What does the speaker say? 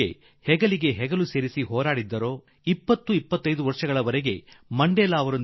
Nelson ಮಂಡೇಲಾರ ಜೊತೆ ಭುಜಕ್ಕೆ ಭುಜ ಕೊಟ್ಟು ಹೋರಾಡಿದ 20 22 ವರ್ಷಗಳ ಕಾಲ ನೆಲ್ಸನ್ ಮಂಡೇಲಾರ ಜೊತೆ ಜೈಲುಗಳಲ್ಲಿ ಅವರು ಜೀವನ ಕಳೆದರು